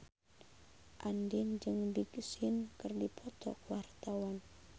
Andien jeung Big Sean keur dipoto ku wartawan